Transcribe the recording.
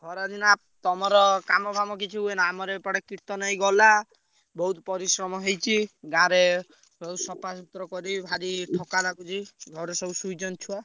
ଖରା ଦିନେ ନା ତମର କାମ ଫାମ କିଛି ହୁଏନା ଆମର ଏପଟେ କୀର୍ତ୍ତନ ଏଇ ଗଲା। ବହୁତ ପରିଶ୍ରମ ହେଇଛି। ଗାଁରେ ସଫା ସୁତୁର କରି ଭାରି ଠକା ଲାଗୁଛି। ଘରେ ସବୁ ଶୋଇଛନ୍ତି ଛୁଆ।